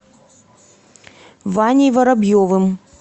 ваней воробьевым